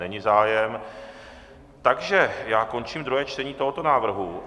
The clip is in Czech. Není zájem, takže já končím druhé čtení tohoto návrhu.